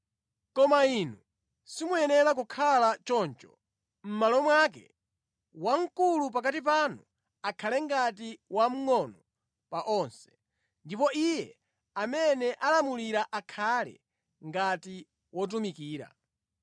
Koma inu simuyenera kukhala choncho. Mʼmalo mwake, wamkulu pakati panu akhale ngati wamngʼono pa onse, ndipo iye amene alamulira akhale ngati wotumikira.